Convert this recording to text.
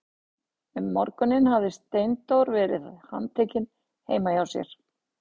Um morguninn hafði Steindór verið handtekinn heima hjá sér.